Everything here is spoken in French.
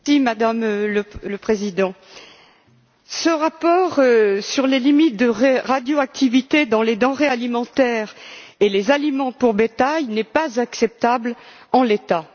Madame la Présidente, ce rapport sur les limites de radioactivité dans les denrées alimentaires et les aliments pour bétail n'est pas acceptable en l'état.